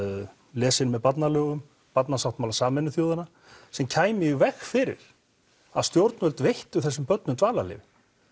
lesin með barnalögum barnasáttmála Sameinuðu þjóðanna sem kæmi í veg fyrir að stjórnvöld veittu þessum börnum dvalarleyfi